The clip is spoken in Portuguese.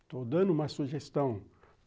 Estou dando uma sugestão.